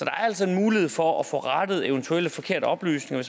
er altså en mulighed for at få rettet eventuelle forkerte oplysninger